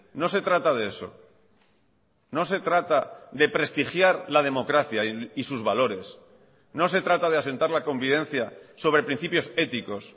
no se trata de eso no se trata de prestigiar la democracia y sus valores no se trata de asentar la convivencia sobre principios éticos